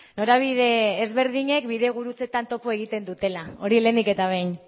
norabide ezberdinek bidegurutzetan topo egiten dutela hori lehenik eta behin